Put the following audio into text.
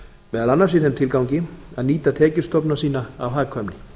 meðal annars í þeim tilgangi að nýta tekjustofna sína af hagkvæmni